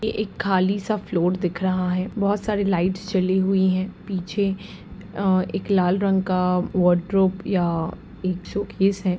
ये एक खाली सा फ्लोर दिख रहा है। बहुत सारी लाइट्स जली हुई हैं। पीछे अ- एक लाल रंग का वार्डरोब या एक शोकेश है।